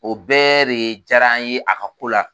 O bɛɛ be jaara n ye a ka ko la.